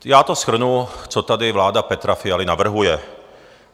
Já to shrnu, co tady vláda Petra Fialy navrhuje.